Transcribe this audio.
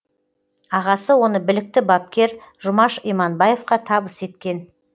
ағасы оны білікті бапкер жұмаш иманбаевқа табыс еткен